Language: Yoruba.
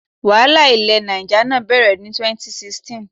Wàhálà ilẹ̀ Niger náà bẹ̀rẹ̀ ní 2016.